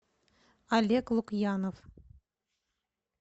олег лукьянов